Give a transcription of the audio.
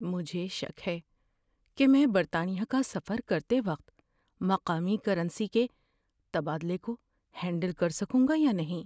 مجھے شک ہے کہ میں برطانیہ کا سفر کرتے وقت مقامی کرنسی کے تبادلہ کو ہینڈل کر سکوں گا یا نہیں۔